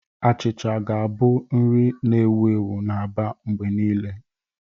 Achịcha ga-abụ nri na-ewu ewu na Aba mgbe niile.